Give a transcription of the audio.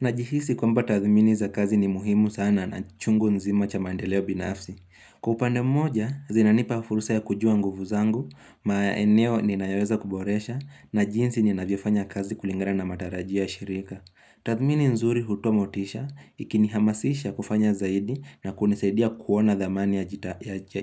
Najihisi kwamba tathimini za kazi ni muhimu sana na chungu nzima cha mandeleo binafsi. Kupande mmoja, zinanipa fursa ya kujua nguvu zangu, ma eneo ni nayaweza kuboresha, na jinsi ni naviofanya kazi kulingana matarajio ya shirika. Tathimini nzuri hutomotisha, ikini hamasisha kufanya zaidi na kunesedia kuona dhamani ya